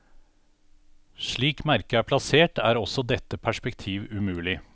Slik merket er plassert, er også dette perspektiv umulig.